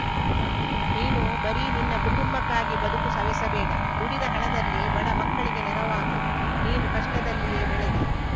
ನೀನು ಬರೀ ನಿನ್ನ ಕುಟುಂಬಕ್ಕಾಗಿ ಬದುಕು ಸವೆಸಬೇಡ ದುಡಿದ ಹಣದಲ್ಲಿ ಬಡ ಮಕ್ಕಳಿಗೆ ನೆರವಾಗು ನೀನು ಕಷ್ಟದಲ್ಲಿಯೇ ಬೆಳೆದೆ